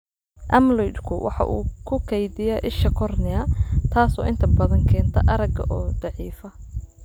Amyloid-ku waxa uu ku kaydiyaa isha kornea, taas oo inta badan keenta aragga oo daciifa.